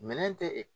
Minɛn tɛ e